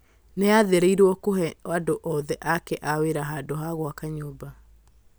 nĩ aathĩrĩirio kũhe andũ othe ake a wĩra handũ ha gwaka nyũmba